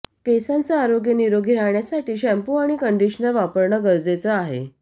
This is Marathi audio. केसांचे आरोग्य निरोगी राहण्यासाठी शॅम्पू आणि कंडिशनर वापरणं गरजेचं आहे